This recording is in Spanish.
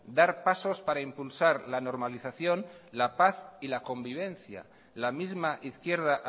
dar pasos para impulsar la normalización la paz y la convivencia la misma izquierda